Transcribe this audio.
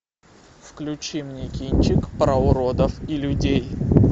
включи мне кинчик про уродов и людей